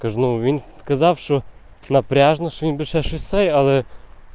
скажем винсы отказавшего напряжно что нибудь шейлы